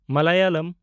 Malayalam